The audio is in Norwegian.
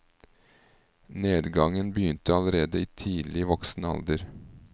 Nedgangen begynte allerede i tidlig voksen alder.